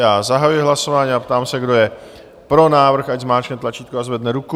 Já zahajuji hlasování a ptám se, kdo je pro návrh, ať zmáčkne tlačítko a zvedne ruku.